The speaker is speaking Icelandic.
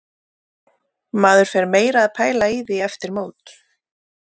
Maður fer meira að pæla í því eftir mót.